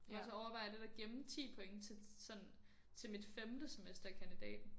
Og så overvejer jeg lidt at gemme 10 point til sådan til mit femte semester i kandidaten